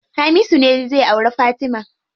Hamisu ne zai auri Fatima.